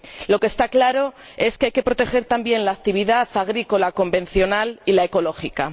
Lo que está claro es que hay que proteger, también, la actividad agrícola convencional y la ecológica.